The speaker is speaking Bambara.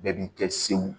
Bɛɛ b'i kɛ sew